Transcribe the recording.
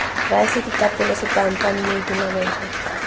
raese ditapole setampa mmedi mabele